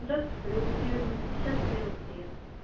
здравствуйте переулок северный пятьдесят первый подъезд